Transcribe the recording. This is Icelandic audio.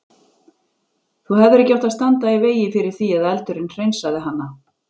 Þú hefðir ekki átt að standa í vegi fyrir því að eldurinn hreinsaði hana.